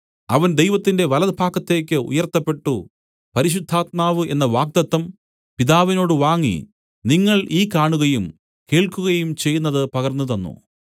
അവൻ ദൈവത്തിന്റെ വലഭാഗത്തേക്ക് ഉയർത്തപ്പെട്ടു പരിശുദ്ധാത്മാവ് എന്ന വാഗ്ദത്തം പിതാവിനോട് വാങ്ങി നിങ്ങൾ ഈ കാണുകയും കേൾക്കുകയും ചെയ്യുന്നത് പകർന്നുതന്നു